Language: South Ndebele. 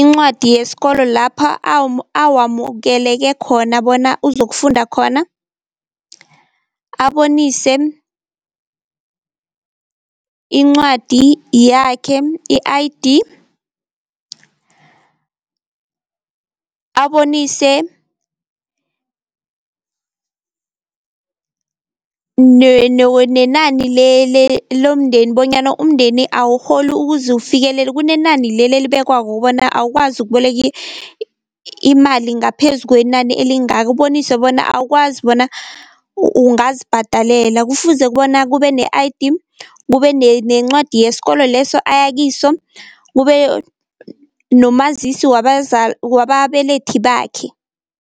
incwadi yesikolo lapha awamukeleke khona bona uzokufunda khona. Abonise incwadi yakhe i-I_D, abonise nenani lomndeni bonyana umndeni awurholi ukuze ufikelele kunenani leli elibekwako bona awukwazi ukuboleka imali ngaphezu kwenani elingaka ubonise bona awukwazi bona ungazibhadalela, kufuze bona kube ne-I_D, kube nencwadi yeskolo leso ayakiso, kube nomazisi wababelethi bakhe.